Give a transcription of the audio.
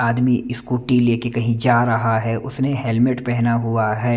आदमी स्कूटी लेके कहीं जा रहा है उसने हेलमेट पहना हुआ है।